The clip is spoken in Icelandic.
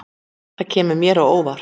Það kemur mér á óvart